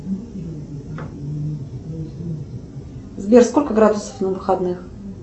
сбер сколько градусов на выходных